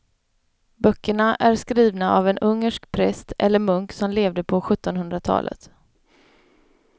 Böckerna är skrivna av en ungersk präst eller munk som levde på sjuttonhundratalet.